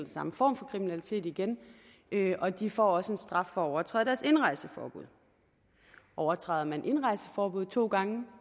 samme form for kriminalitet igen og de får også en straf for at overtræde deres indrejseforbud overtræder man indrejseforbuddet to gange